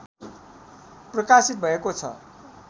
प्रकाशित भएको छ